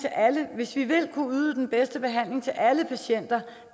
hvis vi vil kunne yde den bedste behandling til alle patienter